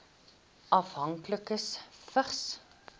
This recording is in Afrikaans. afhanklikes vigs